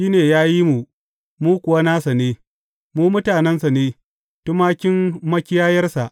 Shi ne ya yi mu, mu kuwa nasa ne; mu mutanensa ne, tumakin makiyayarsa.